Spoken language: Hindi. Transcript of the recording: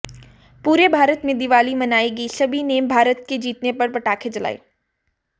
पूरे भारत में दिवाली मनाई गई सभी ने भारत के जीतने पर पटाखे जलाए